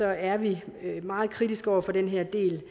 er vi meget kritiske over for den her del